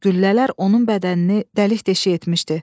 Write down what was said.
Güllələr onun bədənini dəlik-deşik etmişdi.